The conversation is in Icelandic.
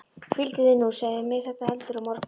Hvíldu þig nú og segðu mér þetta heldur á morgun.